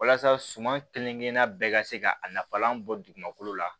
Walasa suman kelen kelen bɛɛ ka se ka nafalan bɔ dugumakolo la